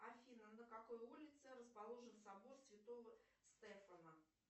афина на какой улице расположен собор святого стефана